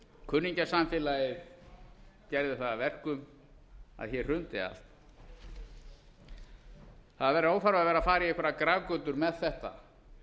kunningjasamfélagið gerði það að verkum að hér hrundi allt það er óþarfi að vera að fara í einhverjar grafgötur með þetta